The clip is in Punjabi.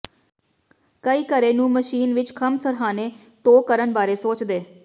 ਕਈ ਘਰੇ ਨੂੰ ਮਸ਼ੀਨ ਵਿਚ ਖੰਭ ਸਰ੍ਹਾਣੇ ਧੋ ਕਰਨ ਬਾਰੇ ਸੋਚਦੇ